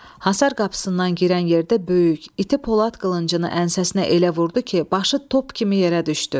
Hasar qapısından girən yerdə böyük, iti polad qılıncını ənsəsinə elə vurdu ki, başı top kimi yerə düşdü.